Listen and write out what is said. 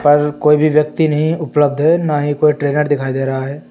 और कोई भी व्यक्ति नहीं उपलब्ध है ना ही कोई ट्रेनर दिखाई दे रहा है।